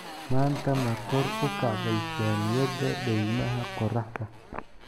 Maanta ma kor u kacday saamiyada daymaha qoraxda?